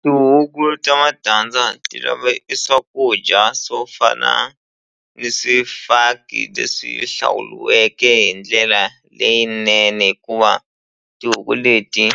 Tihuku ta matandza ti lave e swakudya swo fana ni swifaki leswi hlawuliweke hi ndlela leyinene hikuva tihuku leti